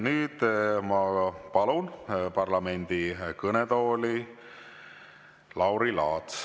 Nüüd ma palun parlamendi kõnetooli Lauri Laatsi.